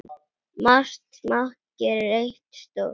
Margt smátt gerir eitt stórt